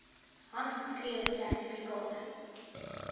handgeskrewe sertifikate